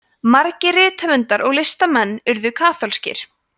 margir rithöfundar og listamenn urðu kaþólskir